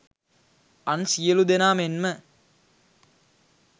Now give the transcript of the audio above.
අන් සියලූ දෙනා මෙන්ම